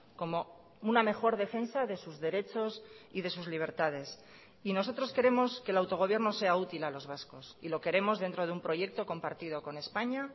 como una mejor defensa de sus derechos y de sus libertades y nosotros queremos que el autogobierno sea útil a los vascos y lo queremos dentro de un proyecto compartido con españa